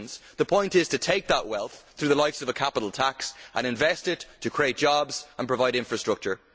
The point is to take that wealth through the likes of a capital tax and invest it to create jobs and provide infrastructure.